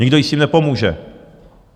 Nikdo jí s tím nepomůže.